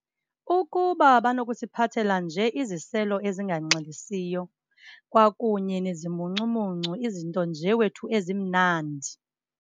Ukuba banokusiphathela nje iziselo ezinganxilisiyo kwakunye nezimuncumuncu, izinto nje wethu ezimnandi.